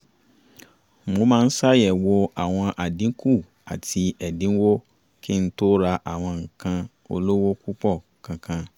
mo máa ṣàyẹ̀wò àwọn àdínkù àti ẹ̀dínwó kí n tó ra àwọn nǹkan olówó púpọ̀ kankan